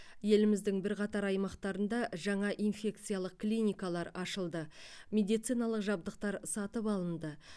еліміздің бірқатар аймақтарында жаңа инфекциялық клиникалар ашылды медициналық жабдықтар сатып алынды